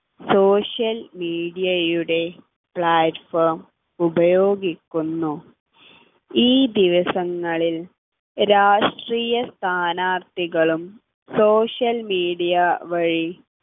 social media യുടെ platform ഉപയോഗിക്കുന്നു ഈ ദിവസങ്ങളിൽ രാഷ്ട്രീയ സ്ഥാനാർത്ഥികളും social media വഴി